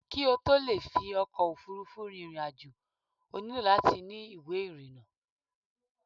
kí ó tó le fi ọkò òfurufú rin ìrìn àjò, ó nílò láti ni ìwé ìrìnà